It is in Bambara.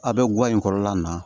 A bɛ guwa in kɔrɔlan na